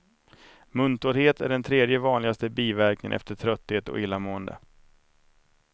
Muntorrhet är den tredje vanligaste biverkningen efter trötthet och illamående.